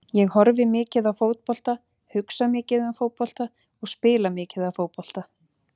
Ég horfi mikið á fótbolta, hugsa mikið um fótbolta og spila mikið af fótbolta.